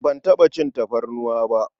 Ban taɓa cin tafarnuwa ba.